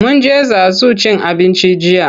Mun je Zazu cin abinci jiya.